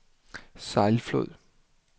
Sejlflod